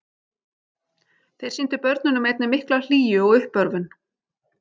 Þeir sýndu börnunum einnig mikla hlýju og uppörvun.